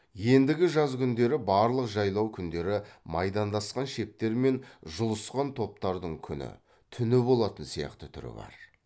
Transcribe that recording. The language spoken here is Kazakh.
ендігі жаз күндері барлық жайлау күндері майдандасқан шептер мен жұлысқан топтардың күні түні болатын сияқты түрі бар